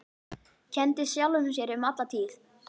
Kenndi sjálfum sér um alla tíð.